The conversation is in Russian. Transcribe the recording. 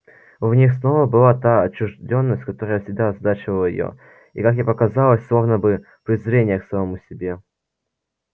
в них снова была та отчуждённость которая всегда озадачивала её и как ей показалось словно бы презрение к самому себе